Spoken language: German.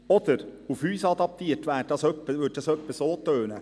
Oder auf uns adaptiert würde dies ungefähr so tönen: